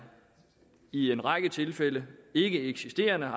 i en række tilfælde ikkeeksisterende og